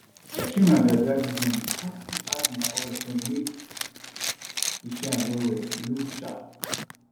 i trim my biabia this morning kon still add my oil join make e shine wellwell look sharp